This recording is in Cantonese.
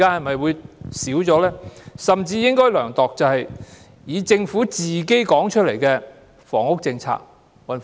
我們甚至應該量度的，是政府公布的房屋政策。